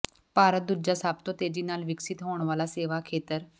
ਭਾਰਤ ਦੂਜਾ ਸਭ ਤੋਂ ਤੇਜ਼ੀ ਨਾਲ ਵਿਕਸਿਤ ਹੋਣ ਵਾਲਾ ਸੇਵਾ ਖੇਤਰ